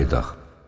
Qayıdaq.